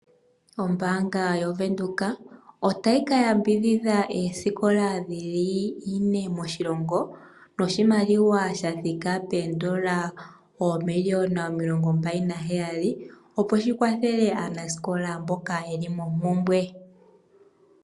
Ombaanga yaWindhoek otayi ka yambidhidha oosikola dhili 4 moshilongo noshimaliwa shathika poondola oomiliona 27 opo shikwathele aanasikola mboka yeli mompumbwe.